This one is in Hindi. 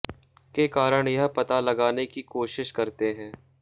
के कारण यह पता लगाने की कोशिश करते हैं